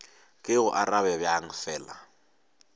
ke go arabe bjang fela